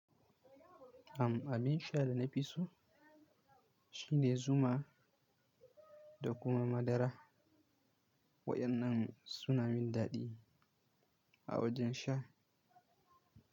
Am abin sha da na fi so shi ne Zuma da kuma madara. Waɗannan suna min daɗi a wajen sha.